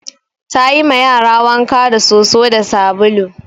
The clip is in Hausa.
Ta yi ma yara wanka da soso da sabulu